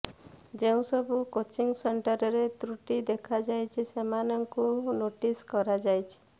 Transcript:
ଯେଉଁ ସବୁ କୋଚିଂ ସେଣ୍ଟରରେ ତ୍ରୁଟି ଦେଖାଯାଇଛି ସେମାନଙ୍କୁ ନୋଟିସ କରାଯାଇଛି